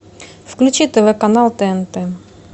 включи тв канал тнт